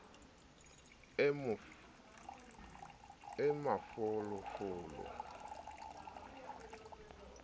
e mafolo folo e tenyetsehang